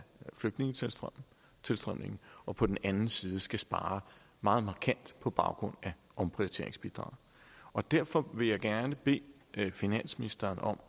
flygtningetilstrømningen og på den ene side skal spare meget markant på baggrund af omprioriteringsbidraget og derfor vil jeg gerne bede finansministeren om